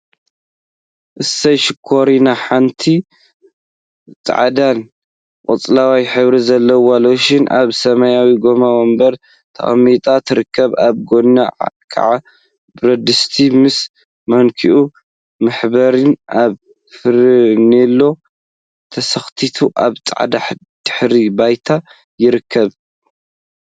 እሰይ ሽኮሪና! ሓንቲ ፃዕዳን ቆፃልን ሕብሪ ዘለዋ ሎሽን አብ ሰማያዊ ጎማ ወንበር ተቀሚጣ ትርከብ፡፡ አብ ጎና ከዓ ብረድስቲ ምስ ማንክኡ/መሕበሪኡ/ አብ ፈርኔሎ ተሰክቲቱ አብ ፃዕዳ ድሕረ ባይታ ይርከብ፡፡